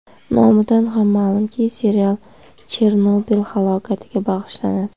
Nomidan ham ma’lumki, serial Chernobil halokatiga bag‘ishlanadi.